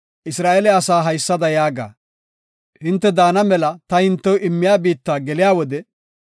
“Isra7eele asaa haysada yaaga; hinte daana mela ta hintew immiya biitta geliya wode,